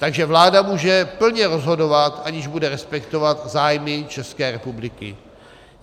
Takže vláda může plně rozhodovat, aniž bude respektovat zájmy České republiky.